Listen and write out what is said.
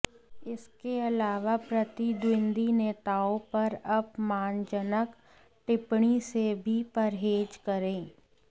इसके अलावा प्रतिद्वंद्वी नेताओं पर अपमानजनक टिप्पणी से भी परहेज़ करें